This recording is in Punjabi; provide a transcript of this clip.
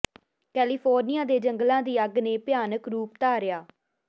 ਕੈਲੀਫੋਰਨੀਆ ਦੇ ਜੰਗਲਾਂ ਦੀ ਅੱਗ ਨੇ ਭਿਆਨਕ ਰੂਪ ਧਾਰਿਆ